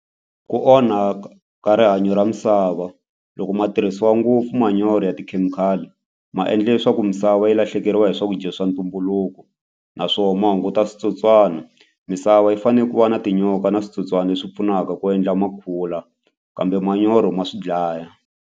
Ku onha ka rihanyo ra misava loko ma tirhisiwa ngopfu manyoro ya tikhemikhali ma endla leswaku misava yi lahlekeriwa hi swakudya swa ntumbuluko naswona ma hunguta switsotswana misava yi fanele ku va na tinyoka na switsotswana leswi pfunaka ku endla ma kula kambe manyoro ma swi dlaya.